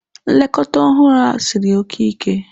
Nlekọta ọhụrụ a siri oke ike.